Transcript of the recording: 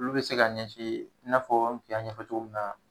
Olu bɛ se ka ɲɛsin I n'a fɔ, n kun y'a ɲɛfɔ cogo min na